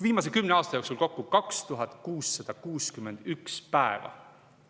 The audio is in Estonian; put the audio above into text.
Viimase kümne aasta jooksul kokku 2661 päeva.